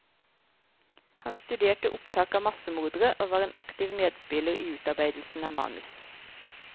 Han studerte opptak av massemordere og var en aktiv medspiller i utarbeidelsen av manus.